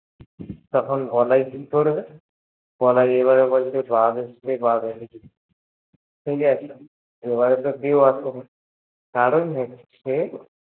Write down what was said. তখন বলাই কি করবে? বলাই এবারে বলছে বাঘ এসেছে বাঘ এসেছে এবারে তো কেউ আসছেন কারণ হচ্ছে